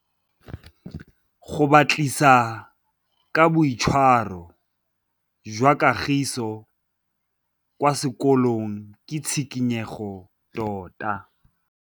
Go batlisisa ka boitshwaro jwa Kagiso kwa sekolong ke tshikinyêgô tota.